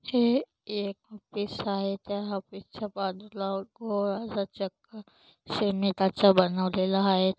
हे एक ऑफिस आहे त्या ऑफिस च्या बाजूला गोल असा चक्कर सिमेंटाचा बनवलेला आहे.